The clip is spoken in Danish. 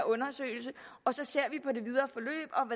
undersøgelse og så ser